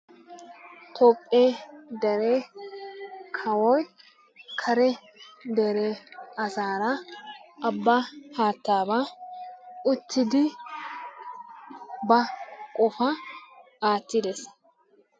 Toophe dere kawoy kare dere asaara abaa haataaba uttidi ba qofaa aattiidi de'ees.